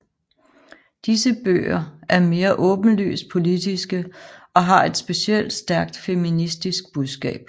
Disse bøger er mere åbenlyst politiske og har et specielt stærkt feministisk budskab